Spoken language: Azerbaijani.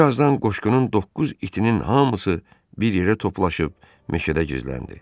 Bir azdan qoşqunun doqquz itinin hamısı bir yerə toplaşıb meşədə gizləndi.